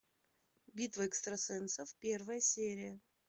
битва экстрасенсов первая серия